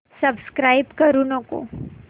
subscribe करू नको